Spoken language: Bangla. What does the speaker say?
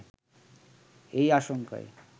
এই আশঙ্কায়